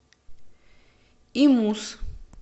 имус